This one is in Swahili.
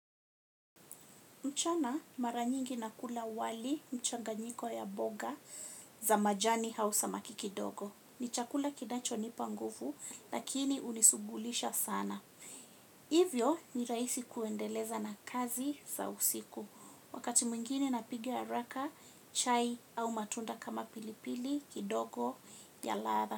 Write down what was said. Mchana maranyingi nakula wali mchanganyiko ya mboga za majani au samakikidogo. Ni chakula kinachonipa nguvu lakini unisugulisha sana. Hivyo ni rahisi kuendeleza na kazi za usiku. Wakati mwingine napiga haraka chai au matunda kama pilipili kidogo ya ladha.